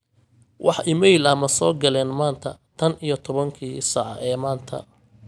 wax iimayl ah ma soo galeen maanta tan iyo tobankii saac ee maanta